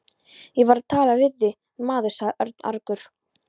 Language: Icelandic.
Ég var að tala við þig, maður sagði Örn argur.